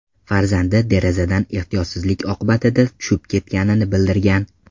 farzandi derazadan ehtiyotsizlik oqibatida tushib ketganini bildirgan.